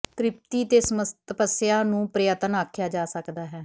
ਤ੍ਰਿਪਤੀ ਤੇ ਤਪੱਸਿਆ ਨੂੰ ਪ੍ਰਯਤਨ ਆਖਿਆ ਜਾ ਸਕਦਾ ਹੈ